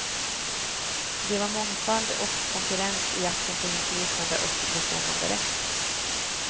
Det var mångfald och konkurrens i jakten på inflytande och bestämmanderätt.